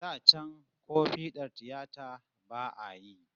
Da can ko fiɗar tiyata ba'a yi